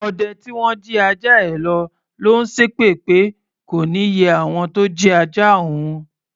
Ọdẹ tí wọ́n jí ajá ẹ lọ̀ ló ń ṣépè pé kò ní yẹ àwọn tó jí ajá òun.